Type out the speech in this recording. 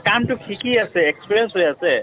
কামটো শিকি আছে , experience ho আছে